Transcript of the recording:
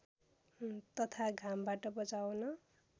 तथा घामबाट बचाउन